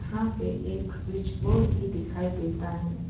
यहाँ पे एक स्विच बोर्ड भी दिखाई देता है।